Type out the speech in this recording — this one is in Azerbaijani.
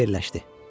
Fikirləşdi: